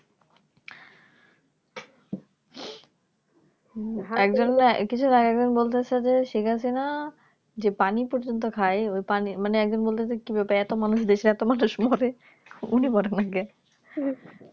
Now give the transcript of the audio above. একজন না কিছুদিন আগে আরেকজনকে বলছে যে Sheikhhasina যে পানি পর্যন্ত খায় ওই পানি মানে একজন বলছে এতো মানুষ দেশে এত মানুষ মরে উনি মরে না কেন